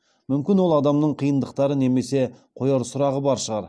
мүмкін ол адамның қиындықтары немесе қояр сұрағы бар шығар